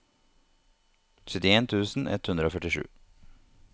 syttien tusen ett hundre og førtisju